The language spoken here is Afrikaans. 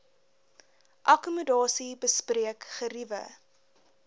akkommodasie bespreek geriewe